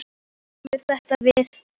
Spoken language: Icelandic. Þú veist að mér kemur þetta við.